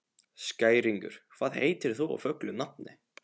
Skæringur, hvað heitir þú fullu nafni?